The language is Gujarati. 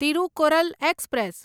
તિરુકુરલ એક્સપ્રેસ